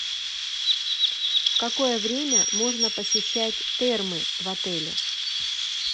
в какое время можно посещать термы в отеле